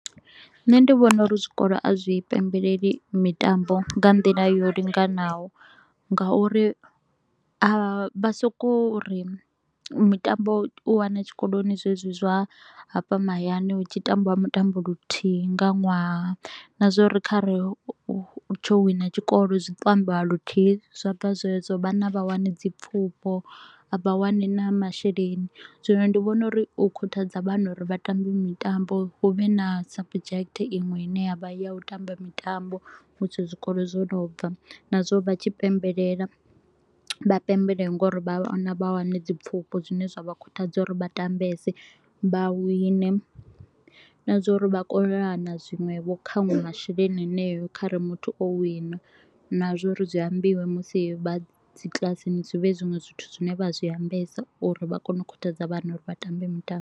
Nṋe ndi vhona u ri zwikolo a zwi pembeleli mitambo nga nḓila yo linganaho nga u ri a vha so ko u ri mitambo u wane tshikoloni zwezwi zwa hafha mahayani hu tshi tambiwa mutambo luthihi nga ṅwaha na zwa u ri kha re hu tsho wina tshikolo zwi to u ambiwa luthihi zwa bva zwedzo. Vhana a vha wani dzi pfufho, a vha wani na masheleni, zwino ndi vhona uri u khuthadza vhana uri vhatambi mitambo. Hu vhe na subject iṅwe ine ya vha ya u tamba mitambo musi zwikolo zwo no bva. Na zwa u ri vha tshi pembelela, vha pembelele nga u ri vhana vha wane dzi pfufho zwine zwa vha khuthadza u ri vha tambese, vha wine na zwa a uri vha kovhelana zwiṅwevho nkhanwe masheleni haneyo kha re muthu o wina. Na zwa u ri zwi ambiwe musi vha dzikiḽasini, zwi vhe zwinwe zwithu zwine vha zwi ambesa u ri vha kone u khuthadza vhana u ri vha tambe mitambo.